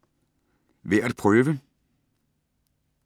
Værd at prøve: